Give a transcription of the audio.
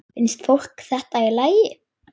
Finnst fólki þetta í lagi?